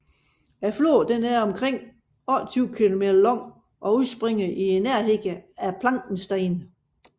Floden er omkring 28 km lang og udspringer i nærheden af Plankenstein